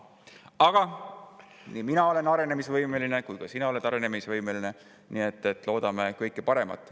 Aga nii mina olen arenemisvõimeline kui ka sina oled arenemisvõimeline, nii et loodame kõige paremat.